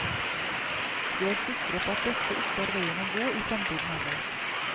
Vi er sikre på at dette ikke er veien å gå i fremtiden heller.